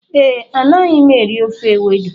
Ee, Anaghị m eri ofe Ewedu.